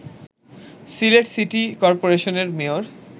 Sylhet city করপোরেশনের mayor